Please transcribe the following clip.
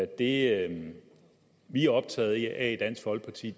det vi er optaget af i dansk folkeparti